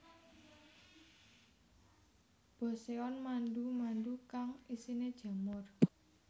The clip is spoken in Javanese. Boseon mandu mandu kang isine jamur